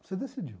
Você decidiu.